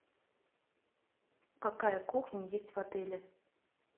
какая кухня есть в отеле